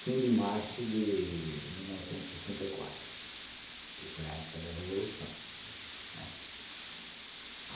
Fim de março de mil novecentos e sessenta e quatro, que foi a época da Revolução, né.